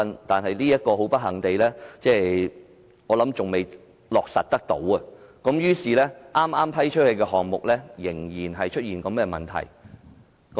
"但是，很不幸，這項建議至今仍未落實，所以剛批出的項目依然出現這問題。